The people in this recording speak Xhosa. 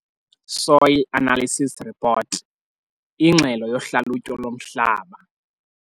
Soil analysis report- Ingxelo yohlalutyo lomhlaba.